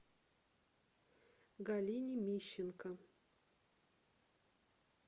галине мищенко